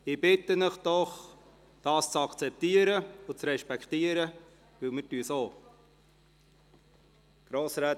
Ich bitte Sie doch, dies zu akzeptieren und zu respektieren, weil wir es auch tun.